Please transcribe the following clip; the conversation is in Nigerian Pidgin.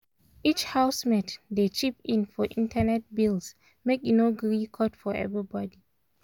each housemate dey chip in for internet bills make e no gree cut for everybody.